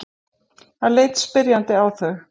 Hann leit spyrjandi á þau.